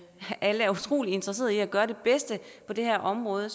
alle er utrolig interesserede i at gøre det bedste på det her område